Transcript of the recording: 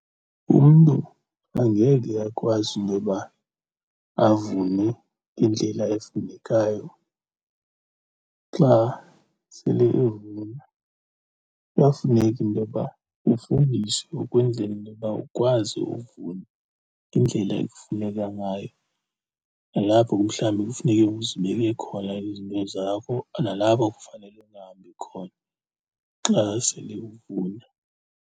Umntu angeke akwazi intoba avune indlela efunekayo. Xa sele evuna kuyafuneka intoba ufundiswe ukwenzela intoba ukwazi uvuna ngendlela ekufuneka ngayo, nalapho ke mhlawumbi kufuneke uzibeke khona izinto zakho, nalapho kufanele ungahambi khona xa sele uvuna.